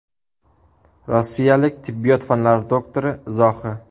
Rossiyalik tibbiyot fanlari doktori izohi.